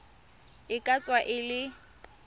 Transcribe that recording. e ka tswa e le